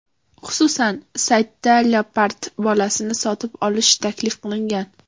Xususan, saytda leopard bolasini sotib olish taklif qilingan.